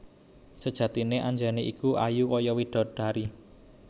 Sejatiné Anjani iku ayu kaya widodari